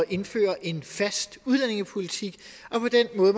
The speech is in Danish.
indføre en fast udlændingepolitik